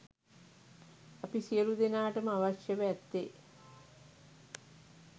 අප සියළු දෙනාට ම අවශ්‍යව ඇත්තේ